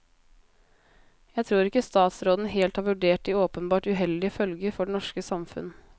Jeg tror ikke statsråden helt har vurdert de åpenbart uheldige følger for det norske samfunn.